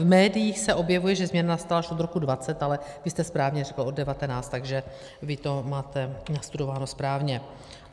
V médiích se objevuje, že změna nastala až od roku 2020, ale vy jste správně řekl od 2019, takže vy to máte nastudováno správně.